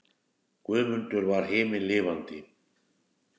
Guðmundur var himinlifandi.